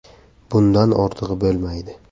Bundan ortig‘i bo‘lmaydi.